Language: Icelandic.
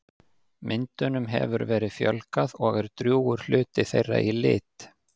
Myndum hefur verið fjölgað og er drjúgur hluti þeirra í lit.